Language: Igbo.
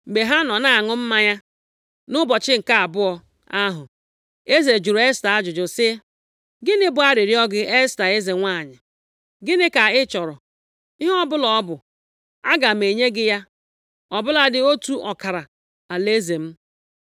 mgbe ha nọ na-aṅụ mmanya, nʼụbọchị nke abụọ ahụ, eze jụrụ Esta ajụjụ sị, “Gịnị bụ arịrịọ gị, Esta, eze nwanyị? Gịnị ka ị chọrọ? Ihe ọbụla ọ bụ, aga m enye gị ya, ọ bụladị otu ọkara alaeze m.”